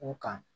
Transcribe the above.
U kan